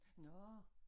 Nårh